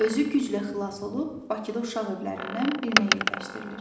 Özü güclə xilas olub Bakıda uşaq evlərindən birinə yerləşdirilir.